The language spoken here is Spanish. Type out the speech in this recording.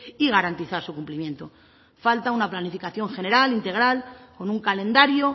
y garantizar su cumplimiento falta una planificación general integral con un calendario